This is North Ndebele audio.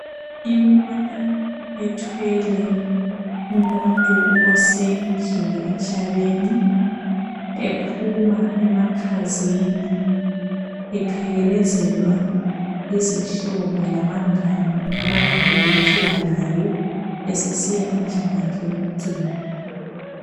Imota ethwele umuntu osedlule emhlabeni ephuma emakhazeni, ephelekezelwa yizihlobo labangane abakade bephila laye esesiya endlini yakhe yokucina.